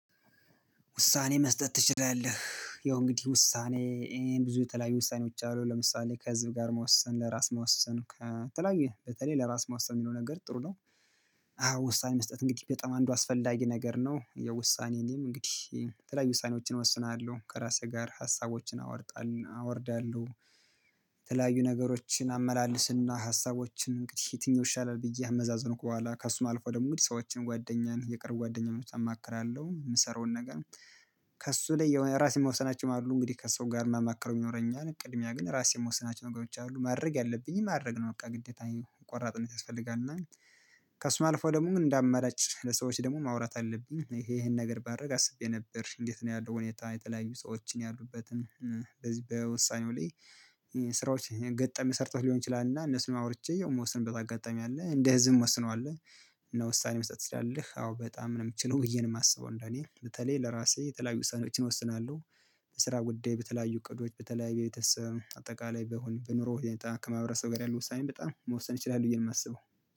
ውሳኔ መስጠት ትችላለህ? ያው እንግዲህ ውሳኔ ይሄን ብዙ የተለያዩ ውሳኔዎች አሉ ለምሳሌ ከህዝብ ጋር መወሰን ለራስ መወሰን ከተለያዩ በተለይ ለራስ መወሰን የሚለው ነገር ጥሩ ነው። ውሳኔ መስጠት እንግዲህ በጣም አንዱ አስፈላጊ ነገር ነው የውሳኔንም እንግዲህ ተለያዩ ውሳኔዎችን እወስናለሁ ከራሴ ጋር ሀሳቦችን አወጣለሁ አወርዳለሁ። የተለያዩ ነገሮችን አመላልስና ሀሳቦችን እንግዲህ የትኛው ይሻላል ብዬ ከአመዛዝንኩ በኋላ ከእሱ አልፎ ደግሞ ሰዎችን ጓደኛን የቅርብ ጓደኛ መፍትሄ አማክራለሁ የምሰራውን ነገር። ከእሱ ላይ የሆነ ራሴ ምወስናቸው አሉ እንግዲህ ከሰው ጋር ማማክረው ይኖረኛል ቅድሚያ ግን ራሴን ምወስናቸው ነገሮች አሉ ማድረግ ያለብኝን ማድረግ ነው። በቃ ግዴታዬ ቆራጥነት ያስፈልጋል እና ከእሱም አልፎ ደግሞ እንዳአማራጭ ለሰዎች ደግሞ ማውራት አለብኝ ይሄን ነገር ባደርግ አስቤ ነበር። እንዴት ነው ያለው ሁኔታ የተለያዩ ሰዎችን ያሉበትን በዚ በውሳኔው ላይ ስራዎች ገጠም ሰርተው ሊሆን ይችላል እና እነሱን አውርቼ የምወስንበት አጋጣሚ አለ እንደ እዚህም ወስነዋለሁ። እና ውሳኔ መስጠት ትችላለህ አዎ በጣም ነው የምችለው ብዬ የማስበው እንደኔ በተለይ ለራሴ የተለያዩ ውሳኔዎችን እወስናለሁ። ለስራ ጉዳይ በተለያዩ እቅዶች በተለያዩ በቤተሰብ አጠቃላይ በኑሮ ሁኔታ ከማህበረሰብ ጋር ያለው ውሳኔም በጣም መወሰን ይችላል ብዬ ነው የማስበው።